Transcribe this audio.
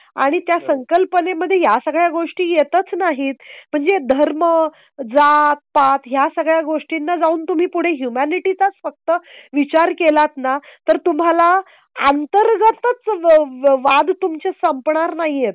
आणि त्या संकल्पनेमध्ये या सगळ्या गोष्टी येतच नाहीत. म्हणजे धर्म जातपात या सगळ्या गोष्टींना जाऊन तुम्ही पुढे ह्युमॅनिटी चाच फक्त विचार केलात ना तर तुम्हाला अंतर्गतच वाद तुमचे संपणार नाहीयेत.